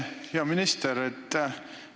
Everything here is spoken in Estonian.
Hea minister!